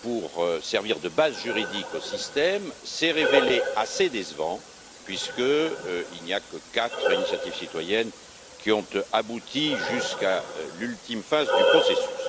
pour servir de base juridique au système s'est révélé assez décevant, puisqu'il n'y a que quatre initiatives citoyennes qui ont abouti jusqu'à l'ultime phase du processus.